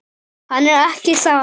Hann er ekki þar.